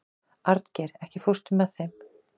Arngeir, ekki fórstu með þeim?